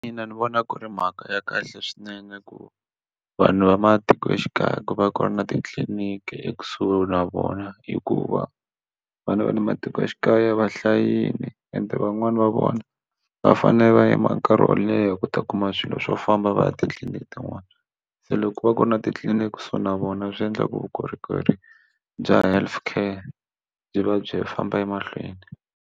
Ina ni vona ku ri mhaka ya kahle swinene ku vanhu va matikoxikaya ku va ku ri na titliliniki ekusuhi na vona hikuva vana va le matikoxikaya va hlayile ende van'wani va vona va fanele va yima nkarhi wo leha ku ta kuma swilo swo famba va ya titliliniki tin'wana se loko va ku ri na titliliniki so na vona swi endla ku vukorhokeri bya health care byi va byi famba emahlweni.